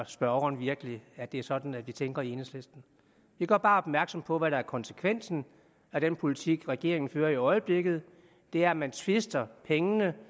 spørgeren virkelig at det er sådan vi tænker i enhedslisten vi gør bare opmærksom på hvad der er konsekvensen af den politik regeringen fører i øjeblikket det er at man twister pengene